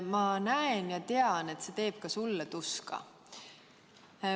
Ma näen ja tean, et see teeb ka sulle tuska.